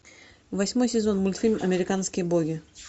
восьмой сезон мультфильм американские боги